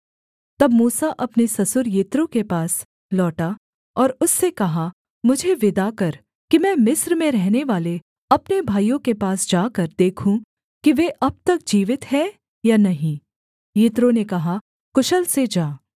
तब मूसा अपने ससुर यित्रो के पास लौटा और उससे कहा मुझे विदा कर कि मैं मिस्र में रहनेवाले अपने भाइयों के पास जाकर देखूँ कि वे अब तक जीवित हैं या नहीं यित्रो ने कहा कुशल से जा